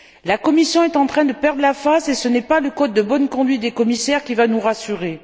La Commission est en train de perdre la face et ce n'est pas le code de bonne conduite des commissaires qui va nous rassurer.